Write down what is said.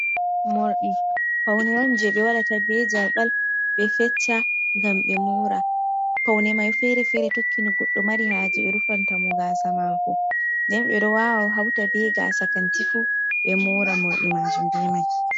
Morɗi faune on je ɓe waɗata bie jalɓal ɓe fecca gam ɓe mora, faune mai fere fere tokkino goɗɗo mari haje ɓe rufanta mo gasamako deyn ɓe ɗo wawa hauta ɓe gasa kantifu ɓe mora mordi majin be mai.